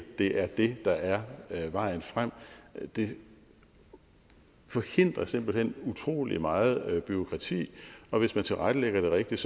er det der er vejen frem det forhindrer simpelt hen utrolig meget bureaukrati og hvis man tilrettelægger det rigtigt